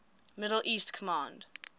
middle east command